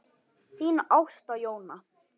Þín Ásta Jóna.